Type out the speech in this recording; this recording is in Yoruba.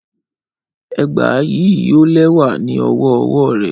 Ẹgba yii yoo lẹwa ni ọwọ ọwọ rẹ